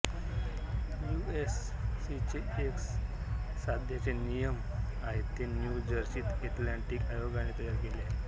you F सीचे जे सध्याचे नियम आहेत ते न्यू जर्सी एथेलिटिक आयोगाने तयार केले आहेत